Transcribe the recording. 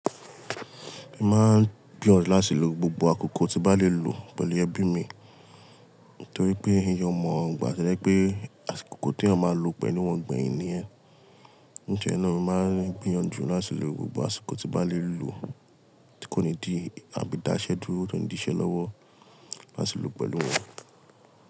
Èmi máa ń gbìyàn láti lo gbogbo àkókò tí bá lè lò pẹ̀lú ẹbí mi, torí pé ẹyẹ ọmọ ìgbà tó yẹ pé àkókò tí a máa lò pẹ̀lú wọn gbẹ̀yin ni ẹ́. Ní ìjọ̀ náà mi máa ń gbìyànjú láti lo gbogbo àsìkò tí bá lè lò kí ó ní di àbí dáṣẹ́ dúró, kí ó ní di iṣẹ́ lọ́wọ́ láti lò pẹ̀lú wọn.